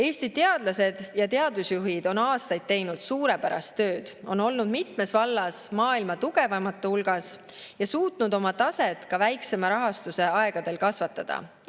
Eesti teadlased ja teadusjuhid on aastaid teinud suurepärast tööd, on olnud mitmes vallas maailma tugevaimate hulgas ja suutnud oma taset ka väiksema rahastuse aegadel kasvatada.